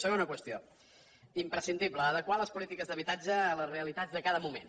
segona qüestió imprescindible adequar les polítiques d’habitatge a les realitats de cada moment